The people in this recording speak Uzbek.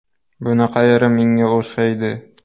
Buni qayeri menga o‘xshaydi.